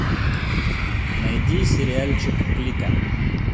найди сериальчик клика